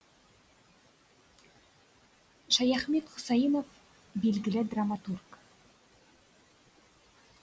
шаяхмет хұсайынов белгілі драматург